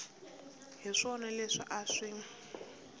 hi swona leswi a swi